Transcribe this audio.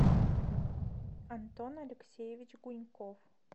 антон алексеевич гуньков